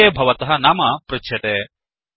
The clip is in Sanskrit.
फलिते भवतः नाम पृच्छ्यते